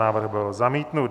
Návrh byl zamítnut.